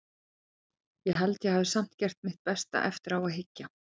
Ég held að ég hafi samt gert mitt besta, eftir á að hyggja.